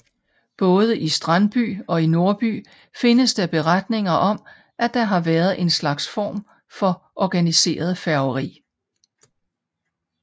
Både i Strandby og i Nordby findes der beretninger om at der har været en slags form for organiseret færgeri